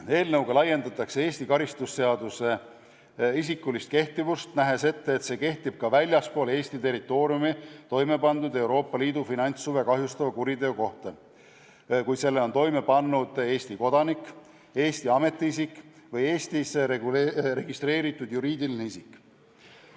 Eelnõuga laiendatakse Eesti karistusseadustiku isikulist kehtivust: nähakse ette, et see kehtib ka väljaspool Eesti territooriumi toime pandud Euroopa Liidu finantshuve kahjustava kuriteo korral, kui selle on toime pannud Eesti kodanik, Eesti ametiisik või Eestis registreeritud juriidiline isik.